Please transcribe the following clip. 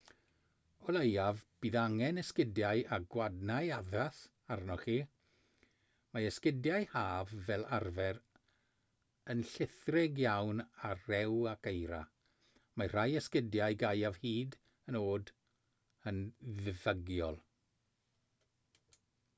o leiaf bydd angen esgidiau â gwadnau addas arnoch chi mae esgidiau haf fel arfer yn llithrig iawn ar rew ac eira mae rhai esgidiau gaeaf hyd yn oed yn ddiffygiol